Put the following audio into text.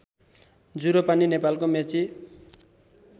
जुरोपानी नेपालको मेची